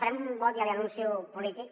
farem un vot ja l’hi anuncio polític